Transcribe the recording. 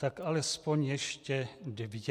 Tak alespoň ještě dvě.